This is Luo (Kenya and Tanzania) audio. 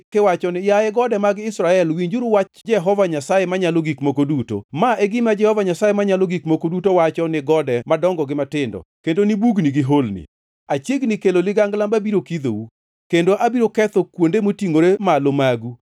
kiwacho ni, ‘Yaye gode mag Israel, winjuru wach Jehova Nyasaye Manyalo Gik Moko Duto. Ma e gima Jehova Nyasaye Manyalo Gik Moko Duto wacho ni gode madongo gi matindo, kendo ni bugni gi holni: Achiegni kelo ligangla mabiro kidhou, kendo abiro ketho kuonde motingʼore malo magu.